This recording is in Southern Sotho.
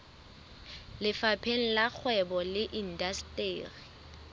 lefapheng la kgwebo le indasteri